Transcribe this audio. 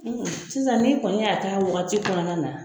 Sisan ni kɔni y'a kɛ wagati kɔnɔna na